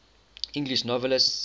english novelists